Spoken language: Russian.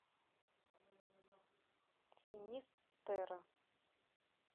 финист терра